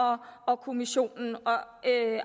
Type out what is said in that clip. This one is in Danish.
af kommissionen og